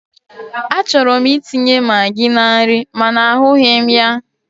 Achọrọ m itinye magi na nri mana ahụghị m ya.